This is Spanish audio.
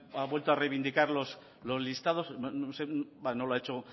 ha vuelto a reivindicar los listados no sé no lo ha hecho